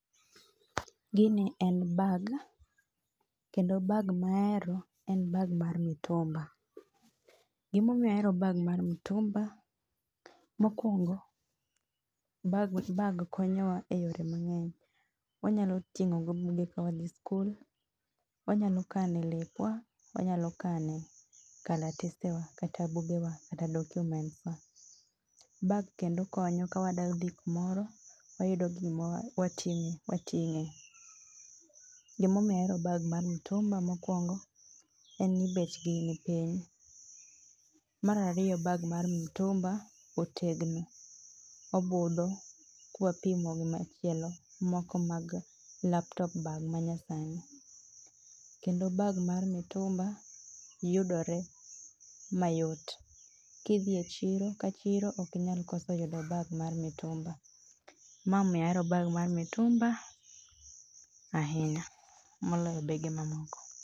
Gini en [c]bag, kendo bag mahero en bag mar mitumba. Gima omiyo ahero bag mar mitumba, mokuongo, bag konyowa e yore mangeny, wanyalo tingo go buge ka wadhi skul, wanyalo kane lepwa, wanyalo kane kalatese wa kata buge wa kata documents wa. Bag kendo konyo ka wadwa dhi kumoro, wayufo kuma watinge. Gima omiyo ahero bag mar mitumba mokuongo en ni bechgi ni piny. Mar ariyo bag mar mitumba otegno, obidho ka wapimo gi machielo moko mag laptop bag moko ma nyasani kendo bag mar mitumba yudore mayot. Kidhi e chiro ka chiro ok inyal koso yudo bag mar mitumba[c],ema omiyo ahero bag mar mitumba[c] ahinya moloyo bege mamoko